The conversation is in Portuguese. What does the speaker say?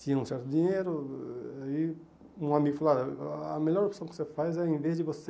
Tinha um certo dinheiro e um amigo falou, a a melhor opção que você faz é em vez de você